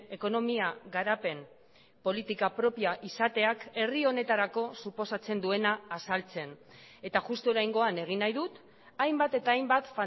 ekonomia garapen politika propioa izateak herri honetarako suposatzen duena azaltzen eta justu oraingoan egin nahi dut hainbat eta hainbat